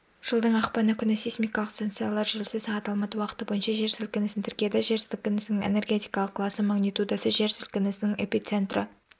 жылдың ақпаны күні сейсмикалық станциялар желісі сағат алматы уақыты бойынша жер сілкінісін тіркеді жер сілкінісінің энергетикалық класы магнитудасы жер сілкінісінің эпицентрі